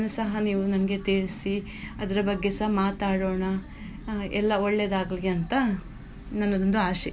ಸಹ ನಮ್ಗೆ ತಿಳ್ಸಿ ಅದ್ರಬಗ್ಗೆ ಸ ಮಾತಾಡೋಣ ಎಲ್ಲಾ ಒಳ್ಳೇದಾಗ್ಲಿ ಅಂತ ನನ್ನದೊಂದು ಆಶೆ.